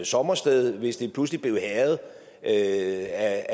sommersted hvis det pludselig blev hærget af